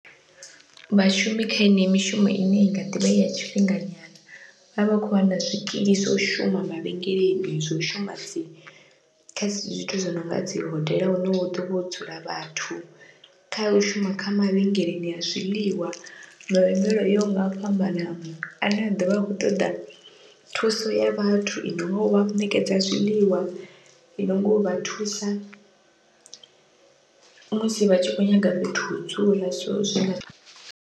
Vhashumi kha yeneyi mishumo ine inga ḓivha ya tshifhinganyana, vha vha kho wana zwikili zwa u shuma mavhengeleni zwo shuma kha zwithu zwi nonga dzi hodela hune hu ḓovha ho dzula vhathu, kha u shuma kha mavhengeleni a zwiḽiwa mavhengele o yaho nga u fhambanana ane a ḓovha a khou ṱoḓa thuso ya vhathu i nonga uvha ṋekedza zwiḽiwa i nonga uvha thusa musi vha tshi kho nyaga fhethu ho dzula so zwi.